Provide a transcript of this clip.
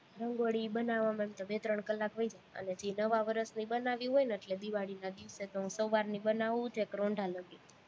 રંગોળી બનાવવામાં એમ તો બે-ત્રણ કલાક વઈ જાય, અને નવા વર્ષની બનાવવી હોય ને એટલે દિવાળીના દિવસે તો સવારની બનાવું, છેક રોંઢા લગી,